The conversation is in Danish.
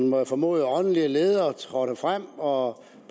må jeg formode åndelige leder trådte frem og